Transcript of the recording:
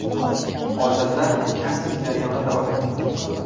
Hozirda kasting jarayoni davom etmoqda.